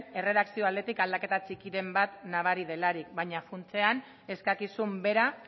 erredakziok aldetik aldaketa txikiren bat nabari delarik baina funtsean eskakizun bera